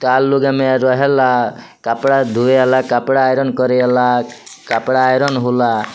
चार लोग एमे रहे ला | कपडा धोए वाला कपडा आयरन करे वाला कपडा आयरन होला |